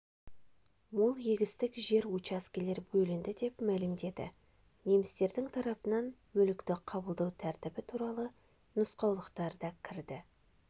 мол егістік жер учаскелер бөлінді деп мәлімдеді немістердің тарапынан мүлікті қабылдау тәртібі туралы нұсқаулықтар да кірді